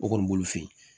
O kɔni b'olu fe yen